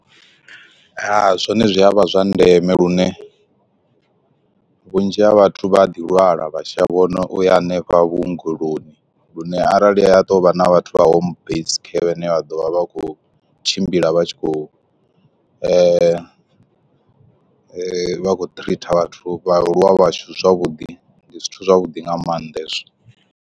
Zwone zwi a vha zwa ndeme lune vhunzhi ha vhathu vha ḓi lwala vha shavho na uya hanefha vhuongeloni, lune arali ya to vha na vhathu vha home based care vhane vha ḓo vha vha khou tshimbila vha tshi khou vha vha khou treater vhathu vhaaluwa vhashu zwavhuḓi ndi zwithu zwavhuḓi nga maanḓa hezwo.